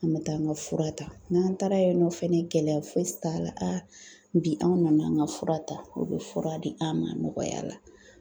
An bɛ taa an ka fura ta. N'an taara yen nɔ fɛnɛ gɛlɛya fosi t'a la bi anw nan'an ŋa fura ta, u be fura di an' ma nɔgɔya la.